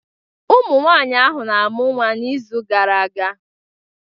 Ụmụnwaanyị ahụ na-amụ nwa n'izu gara aga